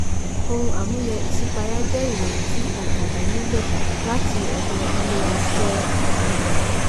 ohun àmúyẹ ìṣípayá jẹ́ ìròyìn tí ontàjà nílò láti ọ̀dọ̀ ilé àṣẹ ọjà.